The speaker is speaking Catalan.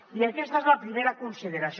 i aquesta és la primera consideració